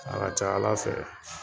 A ka ca Ala fɛ